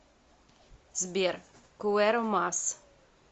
сбер куэро мас